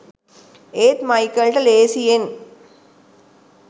ඒත් මයිකල්ට ලේසියෙන්